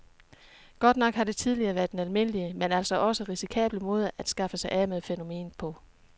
Godt nok har det tidligere været den almindelige, men altså også risikable måde at skaffe sig af med fænomenet på.